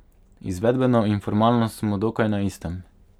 Izvedbeno in formalno smo dokaj na istem.